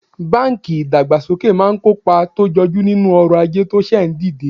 banki idagbasoke maa n kopa to joju ninu oro aje to se ndide